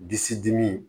Disi dimi